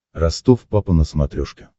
ростов папа на смотрешке